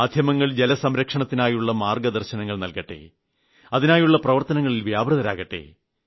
മാധ്യമങ്ങൾ ജലസംരക്ഷണത്തിനായുള്ള മാർഗ്ഗദർശനങ്ങൾ നൽകട്ടെ അതിനായുള്ള പ്രവർത്തനങ്ങളിൽ വ്യാപൃതരാകട്ടെ